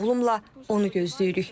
Oğlumla onu gözləyirik.